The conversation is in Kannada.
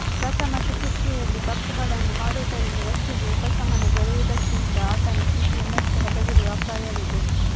ಪ್ರಥಮ ಚಿಕಿತ್ಸೆಯಲ್ಲಿ ತಪ್ಪುಗಳನ್ನು ಮಾಡುವುದರಿಂದ ವ್ಯಕ್ತಿಗೆ ಉಪಶಮನ ದೊರೆಯು ವುದಕ್ಕಿಂತ ಆತನ ಸ್ಥಿತಿ ಇನ್ನಷ್ಟು ಹದಗೆಡುವ ಅಪಾಯವಿದೆ